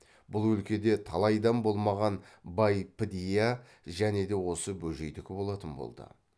бұл өлкеде талайдан болмаған бай підия және де осы бөжейдікі болатын болды